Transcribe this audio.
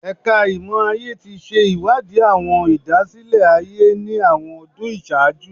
Ẹka Imọ-aye ti ṣe iwadi awọn idasile-aye ni awọn ọdun iṣaaju